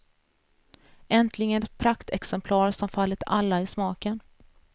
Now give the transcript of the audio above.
Äntligen ett praktexemplar som fallit alla i smaken.